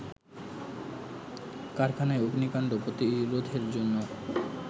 কারখানায় অগ্নিকাণ্ড প্রতিরোধের জন্য